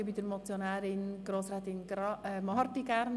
Grossrätin Marti hat das Wort.